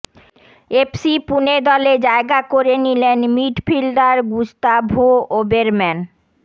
FC Pune দলে জায়গা করে নিলেন মিডফিল্ডার গুস্তাভো ওবেরম্যান